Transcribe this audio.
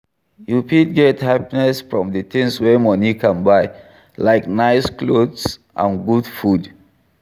You fit get happiness from di things wey money can buy, like nice clothes and good food.